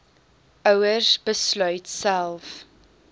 ouers besluit self